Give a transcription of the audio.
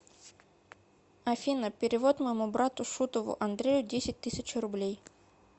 афина перевод моему брату шутову андрею десять тысяч рублей